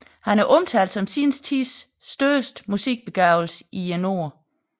Han er omtalt som sin tids største musikbegavelse i Norden